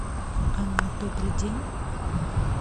анна добрый день